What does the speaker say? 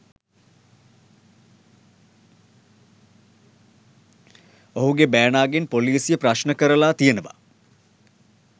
ඔහුගේ බෑනාගෙන් පොලිසිය ප්‍රශ්න කරලා තියෙනවා.